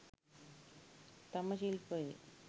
තම ශිල්පයේ